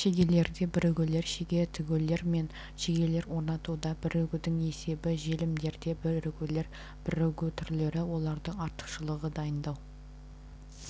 шегелерде бірігулер шеге тігулер мен шегелер орнатуында бірігуінің есебі желімдерде бірігулер бірігу түрлері олардың артықшылығы дайындау